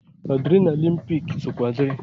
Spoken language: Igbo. Adrenalịn pik sokwa diri.